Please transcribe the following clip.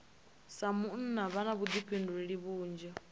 sa munna vha na vhuḓifhinduleli vhunzhi